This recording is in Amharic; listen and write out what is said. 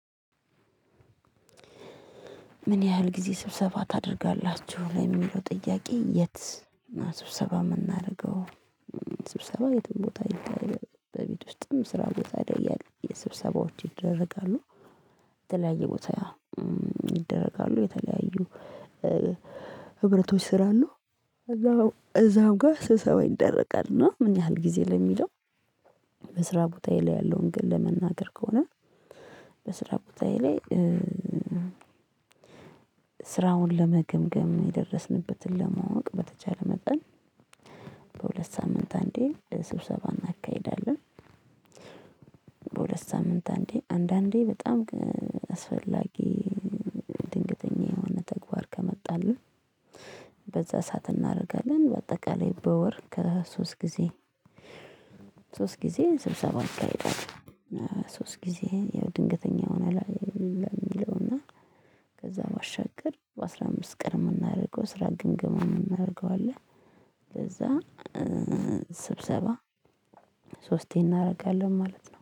ምን ያህል ጊዜ ስብሰባ ታደርጋላችሁ ለሚለው ጥያቄ የት? ስብሰባ የምናደርገው ስብሰባ የትም ቦታ ይደረጋል በቤት ውስጥም ስራ ቦታ ይደ ስብሰባዎች ይደረጋሉ። የተለያየ ቦታ ይደረጋሉ። የተለያዩ ህብረቶች ስላለ እዛው እዛው ጋር ስብሰባ ይደረጋል። እና ምን ያህል ጊዜ ለሚለው? በስራ ቦታዬ ላይ ያለውን ግን ለመናገር ከሆነ። በስራ ቦታዬ ላይ ስራውን ለመገምገም የደረስንበትን ለማወቅ በተቻለ መጠን በሁለት ሳምንት አንዴ ስብሰባ እናካሂዳለን። በሁለት ሳምንት አንዴ አንዳንዴ በጣም አስፈላጊ ድንገተኛ የሆነ ተግባር ከመጣልን በዛ ሰዓት እናደርጋለን። በአጠቃላይ በወር ከሶስት ጊዜ ጊዜ ስብሰባ አካሄዳለሁ። ሶስት ጊዜ ያው ድንገተኛ ሆነ ላይ የሚለው እና ከዛ ባሻገር በአስራ አምስት ቀን የምናደርገው ስራ ግምገማ ነው። የምናደርገው አለ ለዛ ስብሰባ ሶስቴ እናደርጋለን ማለት ነው